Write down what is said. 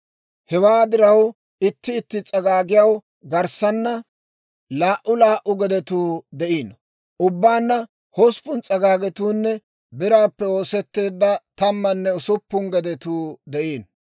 Hewaa diraw, itti itti s'agaagiyaw garssaana laa"u laa"u gedetuu de'iino; ubbaanna hosppun s'agaagetuunne biraappe oosetteedda tammanne usuppun gedetuu de'iino.